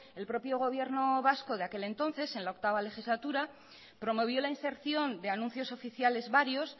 el propio gobierno vasco de aquel entonces en la octavo legislatura promovió la inserción de anuncios oficiales varios